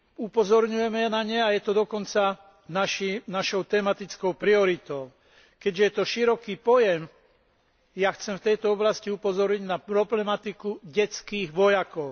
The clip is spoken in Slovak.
Upozorňujeme na ne a je to dokonca našou tematickou prioritou. Keďže je to široký pojem, ja chcem v tejto oblasti upozorniť naproblematiku detských vojakov.